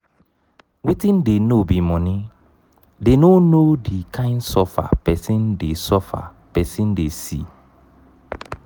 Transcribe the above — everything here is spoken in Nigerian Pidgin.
wetin dey know be money dey no know the kind suffer person dey suffer person dey see